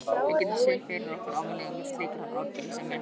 Við getum séð fyrir okkur afleiðingar slíkrar afbrýðisemi.